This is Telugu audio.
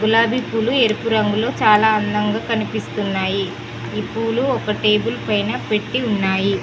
గులాబీ పూలు ఎరుపు రంగులో చాలా అందంగా కనిపిస్తున్నాయి ఈ పూలు ఒక టేబుల్ పైన పెట్టి ఉన్నాయి.